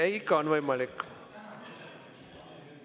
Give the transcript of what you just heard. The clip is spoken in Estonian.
Selge, ikka on võimalik.